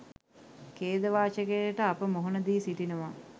ඛේදවාචකයට අප මුහුණ දී සිටිනවා